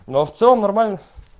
но в целом нормально